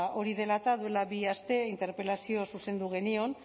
hori dela eta duela bi aste interpelazioa zuzendu genion